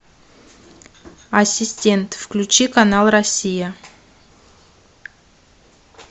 ассистент включи канал россия